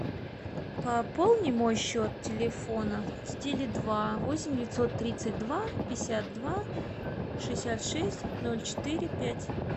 пополни мой счет телефона с теле два восемь девятьсот тридцать два пятьдесят два шестьдесят шесть ноль четыре пять